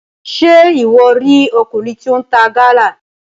Ṣe iwọ ri ọkùnrin tí o n ta Gala?